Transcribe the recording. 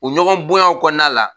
U ɲɔgɔnbonyaw kɔnɔna la.